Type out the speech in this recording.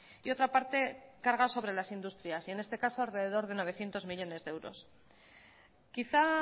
y otra parte carga sobre las industrias y en este caso alrededor de novecientos millónes de euros quizá